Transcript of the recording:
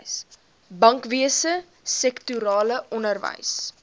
bankwese sektorale onderwys